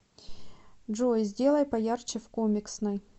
джой сделай поярче в комиксной